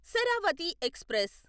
Sharavathi express